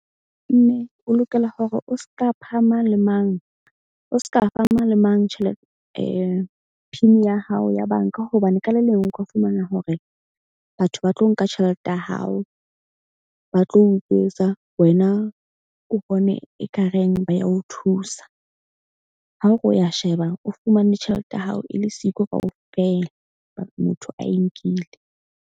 Mme o lokela hore o ska pha mang le mang, o ska fa mang le mang PIN-i ya hao ya bank-a. Hobane ka le leng o ka fumana hore batho ba tlo nka tjhelete ya hao, ba tlo utswetsa. Wena o bone ekareng ba ya o thusa. Ha o re wa sheba, o fumane tjhelete ya hao e le siko kaofela, motho a e nkile.